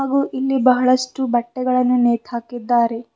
ಹಾಗೂ ಇಲ್ಲಿ ಬಹಳಷ್ಟು ಬಟ್ಟೆಗಳನ್ನು ನೇತಾಕಿದ್ದಾರೆ.